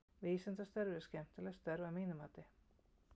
Vísindastörf eru skemmtileg störf að mínu mati.